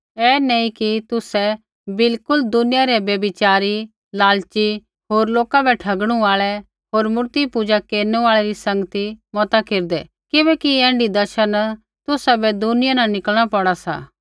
ऐ नैंई कि तुसै बिलकुल दुनिया रै व्यभिचारी लालची होर लोका बै ठगणु आल़ै होर मूर्तिपूजा केरनु आल़ै री संगती मता केरदै किबैकि ऐण्ढी दशा न तुसाबै दुनिया न निकलणा पौड़ा सा